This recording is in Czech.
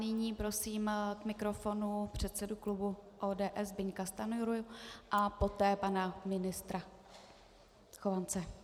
Nyní prosím k mikrofonu předsedu klubu ODS Zbyňka Stanjuru a poté pana ministra Chovance.